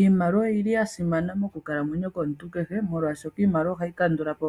Iimaliwa oyili yasimana moku kalamwenyo komuntu kehe molwashoka iimaliwa ohayi kandulapo